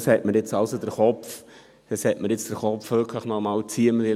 Das hat mich ziemlich zum Nachdenken gebracht.